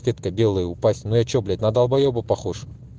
сетка белая упасть но я что блять на долбоеба похож